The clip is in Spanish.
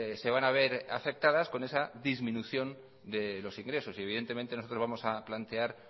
se van a ver afectadas con esa disminución de los ingresos y evidentemente nosotros vamos a plantear